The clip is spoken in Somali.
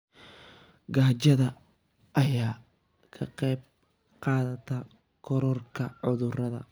Gaajada ayaa ka qayb qaadata kororka cudurrada.